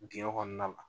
Dingɛ kɔnɔna la